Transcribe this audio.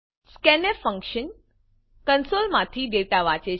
scanfફંક્શન કંસોલમાંથી ડેટાને વાંચે છે